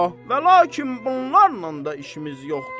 Və lakin bunlarla da işimiz yoxdur.